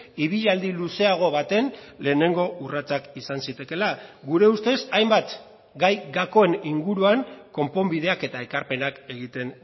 ibilaldi luzeago baten lehenengo urratsak izan zitekeela gure ustez hainbat gai gakoen inguruan konponbideak eta ekarpenak egiten